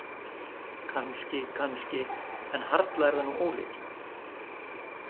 Kannski, kannski- en harla er það nú ólíklegt.